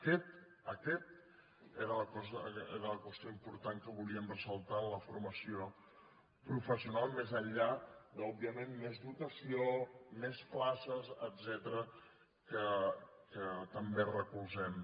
aquesta aquesta era la qüestió important que volíem ressaltar en la formació professional més enllà de òbviament més dotació més places etcètera que també recolzem